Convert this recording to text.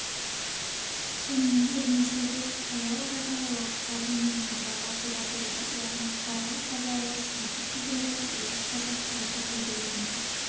сонымен бір мезгілде таяу арадағы уақытқа дейін мойындауға тура келді яғни бұқаралық қазақ-орыс екі тілділігі орыс-қазақ екі тілділігінің